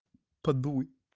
подуй